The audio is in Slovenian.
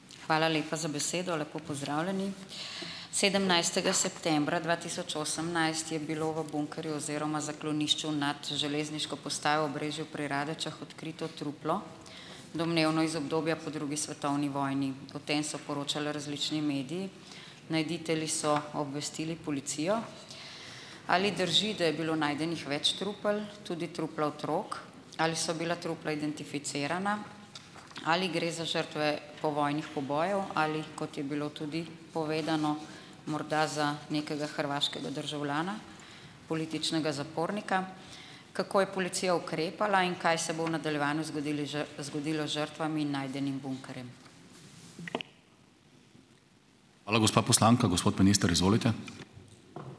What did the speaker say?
Hvala lepa za besedo, lepo pozdravljeni. Sedemnajstega septembra dva tisoč osemnajst je bilo v bunkerju oziroma zaklonišču nad železniško postajo Obrežju pri Radečah odkrito truplo, domnevno iz obdobja po drugi svetovni vojni. O tem so poročala različni mediji. Najditelji so obvestili policijo. Ali drži, da je bilo najdenih več trupel, tudi trupla otrok, ali so bila trupla identificirana, ali gre za žrtve povojnih pobojev, ali kot je bilo tudi povedano, morda za nekega hrvaškega državljana, političnega zapornika? Kako je policija ukrepala in kaj se bo v nadaljevanju zgodili zgodilo z žrtvami najdenim bunkerjem?